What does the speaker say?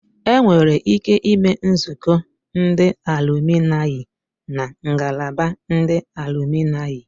Enwere ike ime nzukọ ndị alụminayi na ngalaba ndị alụminayi